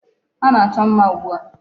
Ha na-achọ mma ugbu a.